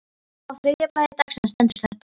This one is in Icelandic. Á þriðja blaði dagsins stendur þetta